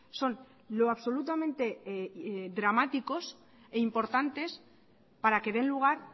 son lo absolutamente dramáticos e importantes para que den lugar